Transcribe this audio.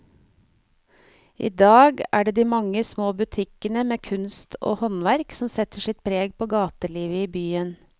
I dag er det de mange små butikkene med kunst og håndverk som setter sitt preg på gatelivet i byen.